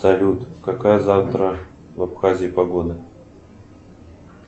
салют какая завтра в абхазии погода